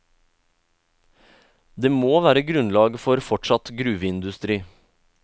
Det må være grunnlag for fortsatt gruveindustri.